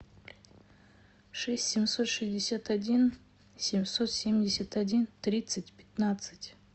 шесть семьсот шестьдесят один семьсот семьдесят один тридцать пятнадцать